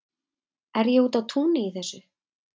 er ég úti á túni í þessu